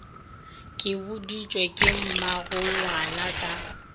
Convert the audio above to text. ke boditšwe ke mmagongwana ka